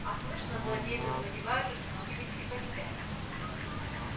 а слышно злодей завладевает уж многими крепостями